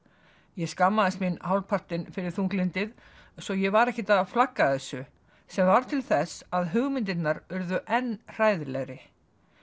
ég skammaðist mín hálfpartinn fyrir þunglyndið svo ég var ekkert að flagga þessu sem varð til þess að hugmyndirnar urðu enn hræðilegri